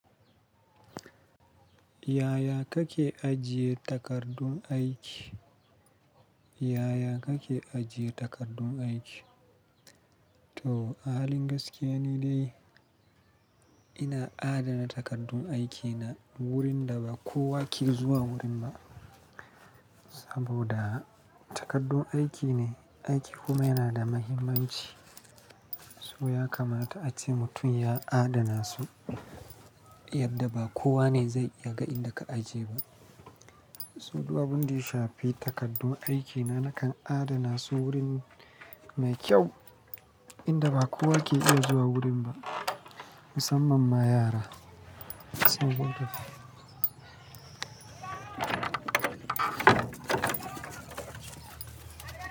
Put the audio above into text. Yaya kake ajiye takardun aiki? Yaya kake ajiye takardun aiki? To, a halin gaskiya ni dai, ina a dana takardun aikina, wurin da ba kowa ke zuwa gurin ba. Saboda takardun aiki ne, aiki kuma yana da mahimmanci, so ya kamata ace mutum ya adana su, yadda ba kowa ne zai iya ga inda ka ajiye. So, duk abin da ya shafi takardun aikina nakan adana su, wurin mai kyau inda ba kowa ke iya zuwa wurin ba, musamman ma yara. Saboda.